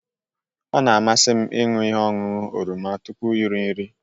Ọ na-amasị m ịṅụ ihe ọṅụṅụ oroma tupu iri nri